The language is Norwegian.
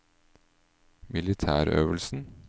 militærøvelsen